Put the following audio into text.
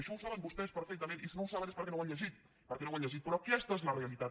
això ho saben vostès perfectament i si no ho saben és perquè no ho han llegit però aquesta és la realitat